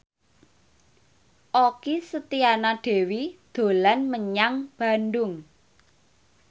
Okky Setiana Dewi dolan menyang Bandung